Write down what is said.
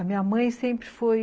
A minha mãe sempre foi